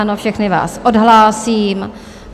Ano, všechny vás odhlásím.